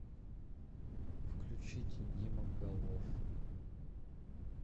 включить дима голов